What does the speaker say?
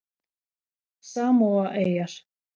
Samóaeyjar